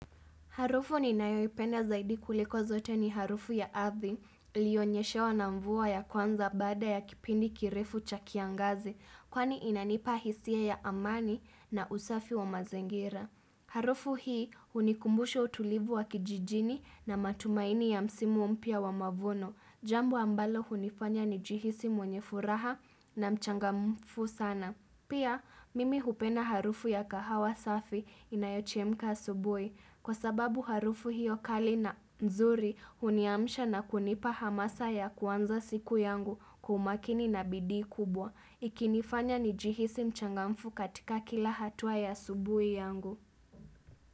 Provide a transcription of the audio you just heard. Harufu ninayoipenda zaidi kuliko zote ni harufu ya ardhi, iliyonyeshewa na mvua ya kwanza baada ya kipindi kirefu cha kiangazi, kwani inanipa hisia ya amani na usafi wa mazingira. Harufu hii hunikumbusha utulivu wa kijijini, na matumaini ya msimu mpya wa mavuno. Jambo ambalo hunifanya nijihisi mwenye furaha, na mchangamfu sana. Pia, mimi hupenda harufu ya kahawa safi inayochemka asubuhi. Kwa sababu harufu hiyo kali na nzuri, huniamisha na kunipa hamasa ya kuanza siku yangu kwa umakini na bidii kubwa. Ikinifanya nijihisi mchangamfu katika kila hatua ya asubuhi yangu.